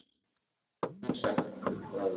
Við höfum margsagt frá því.